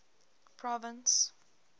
province